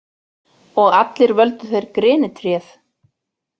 Og allir völdu þeir grenitréð.